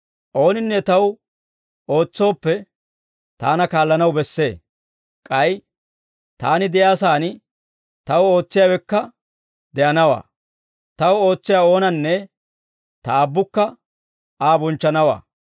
Ooninne Taw ootsooppe, Taana kaallanaw bessee; k'ay Taani de'iyaa sa'aan Taw ootsiyaawekka de'anawaa. Taw ootsiyaa oonanne, Ta Aabbukka Aa bonchchanawaa.